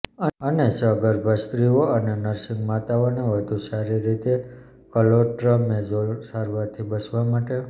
અને સગર્ભા સ્ત્રીઓ અને નર્સીંગ માતાઓને વધુ સારી રીતે ક્લોટ્રમૅઝોલ સારવારથી બચવા માટે